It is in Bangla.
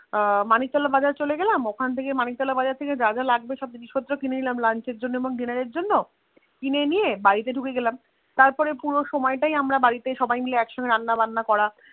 মানিক তোলা বাজার চলে এলাম ওখান থেকে মানিক তোলা বাজার থেকে জাজ লাগবে সব জিনিস পত্র কিনে নিলাম Lunch এর জন্যে এবং Dinner এর জন্যে কিনে নিয়ে বাড়িতে ঢুকে গেলাম তারপর পুরো আমায় তাই আমরা বাড়িতে সবাই মাইল একসাথে রান্না বান্না করলাম করা